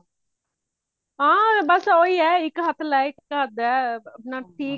ਹਾਂ ਬਸ ਓਹੀ ਹੈ ਇੱਕ ਹੱਥ ਲੈ ਇੱਕ ਹੱਥ ਦੇ ਅਪਣਾ ਠੀਕ ਹੈ